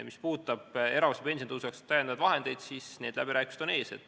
Mis puudutab lisavahendeid erakorralise pensionitõusu jaoks, siis need läbirääkimised on ees.